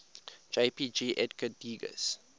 jpg edgar degas